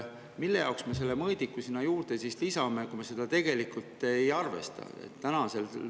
Mille jaoks me selle mõõdiku sinna juurde lisame, kui me seda tegelikult ei arvesta?